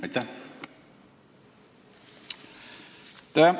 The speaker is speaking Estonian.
Aitäh!